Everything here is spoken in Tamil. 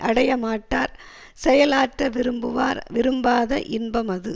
அடையமாட்டார் செயல் ஆற்ற விரும்புவார் விரும்பாத இன்பம் அது